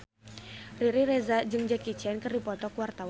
Riri Reza jeung Jackie Chan keur dipoto ku wartawan